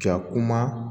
Ka kuma